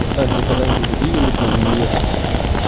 братан тебя когда-нибудь будили утренним минетом